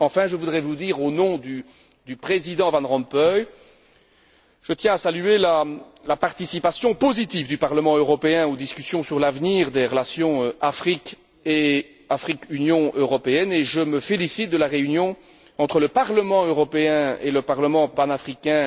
Enfin, je voudrais vous dire, au nom du Président Van Rompuy, que je tiens à saluer la participation positive du Parlement européen aux discussions sur l'avenir des relations entre l'Afrique et l'Union européenne et je me félicite de la réunion entre le Parlement européen et le Parlement panafricain,